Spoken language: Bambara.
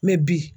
Mɛ bi